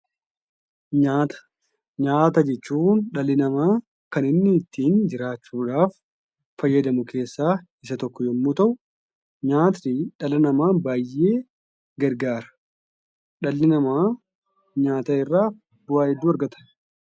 Nyaata. Nyaata jechuun dhalli namaa kan inni ittiin jiraachuudhaaf fayyadamu keessaa isa tokko yemmuu ta'u nyaatni dhala namaa baay'ee gargaara. Dhalli namaa nyaata irraa bu'aa hedduu argata.